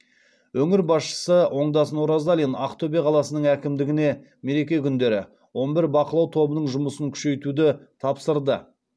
өңір басшысы оңдасын оразалин ақтөбе қаласының әкімдігіне мереке күндері он бір бақылау тобының жұмысын күшейтуді тапсырды